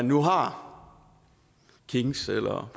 nu har kings eller